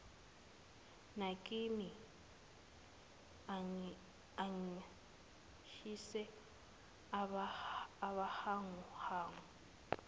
nakimi angishise ubuhanguhangu